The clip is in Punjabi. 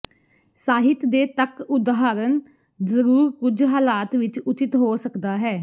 ਸਾਹਿਤ ਦੇ ਤੱਕ ਉਦਾਹਰਨ ਜ਼ਰੂਰ ਕੁਝ ਹਾਲਾਤ ਵਿੱਚ ਉਚਿਤ ਹੋ ਸਕਦਾ ਹੈ